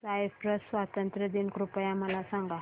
Cyprus स्वातंत्र्य दिन कृपया मला सांगा